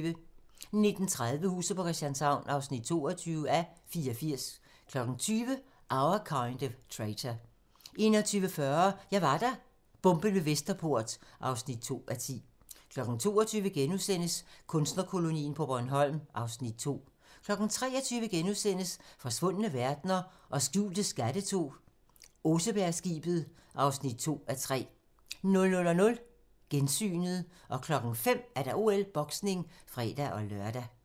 19:30: Huset på Christianshavn (22:84) 20:00: Our Kind of Traitor 21:40: Jeg var der - Bomben ved Vesterport (2:10) 22:00: Kunstnerkolonien på Bornholm (Afs. 2)* 23:00: Forsvundne verdener og skjulte skatte II - Osebergskibet (2:3)* 00:00: Gensynet 05:00: OL: Boksning (fre-lør)